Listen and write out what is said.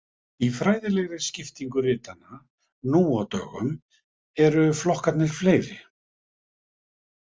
Í fræðilegri skiptingu ritanna nú á dögum eru flokkarnir fleiri.